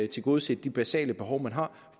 tilgodeset de basale behov man har